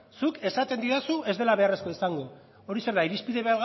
zuk esaten didazu ez dela beharrezkoa izango hori zer da irizpide